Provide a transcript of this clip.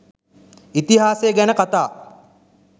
ඉතිහාසය ගැන කතා